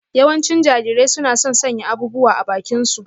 Yawancin Jarirai suna son sanya abubuwa a bakinsu.